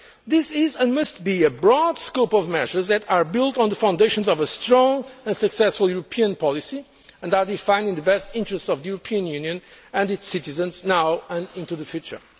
This is and must be a broad range of measures built on the foundations of a strong and successful European policy, defining the best interests of the European Union and its citizens now and into the future.